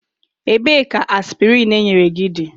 Ebee ka aspịrịn enyere gị dị?